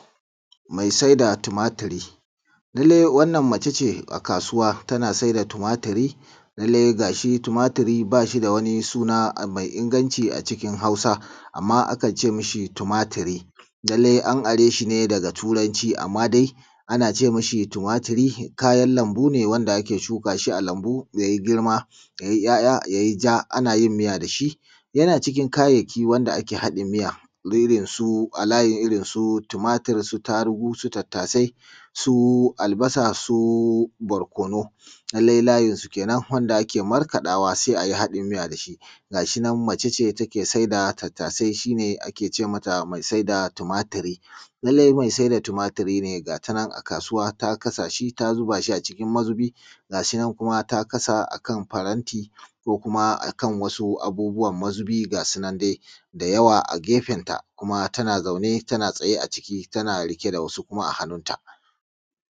Mai saida tumaturi. Lallai wannan mace ce a kasuwa tana Saida tumaturi, lallai ga shi tumaturi ba shi da wani suna mai inganci a Hausa .Amma akan ce ma shi tumaturi. Lallai an are shi ne daga turanci amma dai ana ce mashi tumaturi kayan lambu ne wanda ake shuka shi ne a lambu ya yi girma yai ‘ya’ya yai ja ana yin miya da shi. Yana cikin kayayyaki wanda ake haɗi miya irinsu tumaturi, irinsu tarugu da su tattasai su albasa su barkonu. Lallai layinsu kenan da ake markaɗawa sai a yi haɗin miya da su. Ga shi nan mace ce take Saida tattasai shi ne ake ce mata mai saida tumaturi. Lallai mai saida tumaturi ne ga ta nan a kasuwa ta kasa shi ta zuba a cikin mazubi, ga shi nan kuma ta kasa a kan faranti ko kuma a kan wasu abubuwan mazubi ga su nan dai da yawa a gefenta kuma tana zaune tana tsaye a ciki kuma tana riƙe da wasu kuma a hannunta